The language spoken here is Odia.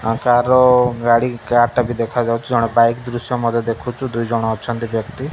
ଆଉ ତାର ଗାଡ଼ି କାର ଟା ଭି ଦେଖାଯାଉଚି ଜଣେ ବାଇକ ଦୃଶ୍ୟ ମଧ୍ୟ ଦେଖୁଚୁ ଦୁଇ ଜଣ ଅଛନ୍ତି ବ୍ୟକ୍ତି।